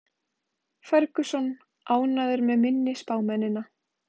Ferguson ánægður með minni spámennina